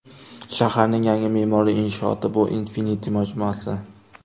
Shaharning yangi me’moriy inshooti bu Infinity majmuasi.